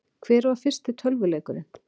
Hver var fyrsti tölvuleikurinn?